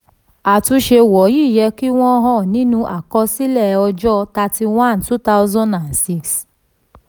àtúnṣe wọ̀nyí yẹ kí wọ́n hàn nínú àkọsílẹ̀ ọjọ́ thirty one ọdún two thousand and six